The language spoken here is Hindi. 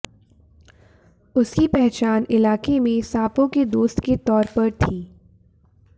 उसकी पहचान इलाके में सांपों के दोस्त के तौर पर थी